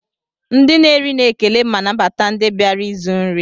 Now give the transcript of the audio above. Ndi na eri na ekele ma nabata ndi biara ịzụ nri.